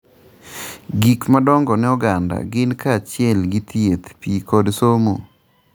Gik madongo ne oganda gin kaachiel gi thieth, pi kod somo.